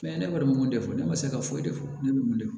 Fɛn ye ne kɔni m'o de fɔ ne ma se ka foyi de fɔ ne bolo